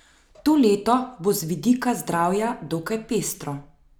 To leto bo z vidika zdravja dokaj pestro.